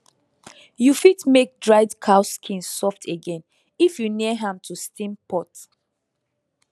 you fit make dried cow skin soft again if you near am to steam pot